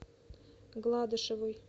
гладышевой